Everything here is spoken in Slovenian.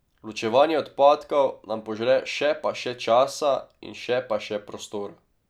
Ločevanje odpadkov nam požre še pa še časa in še pa še prostora.